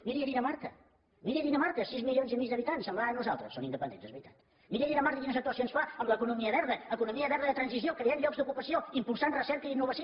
miri dinamarca miri dinamarca sis milions i mig d’habitants semblant a nosaltres són independents és veritat miri dinamarca quines actuacions fa en l’economia verda economia verda de transició creant llocs d’ocupació impulsant recerca i innovació